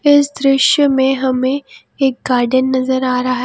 इस दृश्य में हमें एक गार्डेन नजर आ रहा--